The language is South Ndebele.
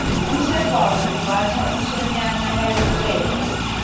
umsegwabo umbatha umsonyani nakayokuwela